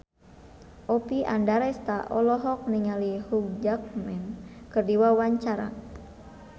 Oppie Andaresta olohok ningali Hugh Jackman keur diwawancara